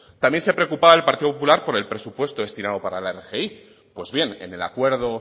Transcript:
también se preocupaba el partido popular por el presupuesto destinado para la rgi pues bien en el acuerdo